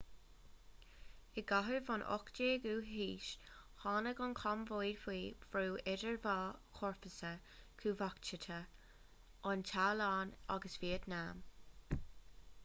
i gcaitheamh an 18ú haois tháinig an chambóid faoi bhrú idir dhá chomharsa chumhachtacha an téalainn agus vítneam